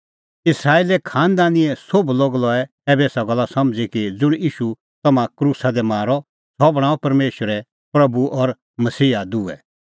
इस्राएले लै खांनदानीए सोभ लोग लऐ ऐबै एसा गल्ला समझ़ी कि ज़ुंण ईशू तम्हैं क्रूसा दी मारअ सह बणांअ परमेशरै प्रभू और मसीहा दुहै